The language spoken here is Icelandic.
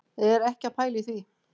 Er ekki að pæla í því,